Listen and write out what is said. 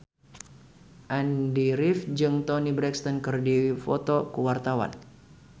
Andy rif jeung Toni Brexton keur dipoto ku wartawan